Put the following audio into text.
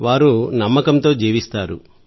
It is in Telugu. వారు నమ్మకంతో జీవిస్తారు